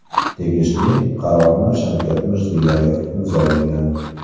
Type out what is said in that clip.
Tegishli qarorni Shavkat Mirziyoyev imzolagan.